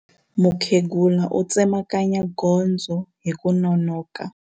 Mukhegula u tsemakanya gondzo hi ku nonoka.